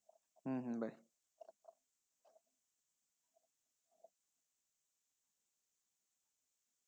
হম হম বায়